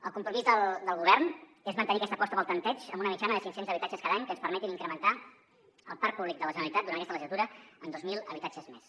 el compromís del govern és mantenir aquesta aposta pel tanteig amb una mitjana de cinc cents habitatges cada any que ens permetin incrementar el parc públic de la generalitat durant aquesta legislatura en dos mil habitatges més